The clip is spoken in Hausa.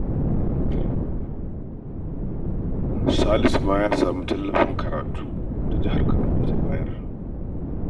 Salisu ma ya samu tallafin karatu da jihar Kaduna ta bayar